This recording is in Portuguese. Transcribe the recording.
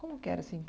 Como que era, assim?